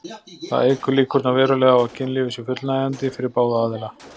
Það eykur líkurnar verulega á að kynlífið sé fullnægjandi fyrir báða aðila.